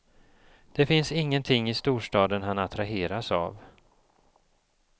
Det finns ingenting i storstaden han attraheras av.